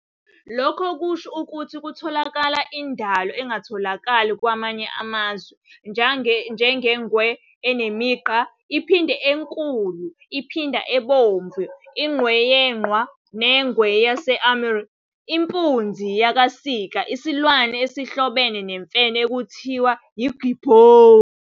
Lokho kusho ukuthi kutholakala indalo engatholakali kwamanye amazwe njengeNgwe enemiGqa, iPhanda eNkulu, iPhanda eBomvu, iNgwe yeQhwa neNgwe yaseAmur, impunzi yakaSika, isilwane esihlobene nemfene ekuthiwa yiGibhoni.